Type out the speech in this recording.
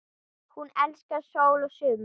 Hún elskaði sól og sumar.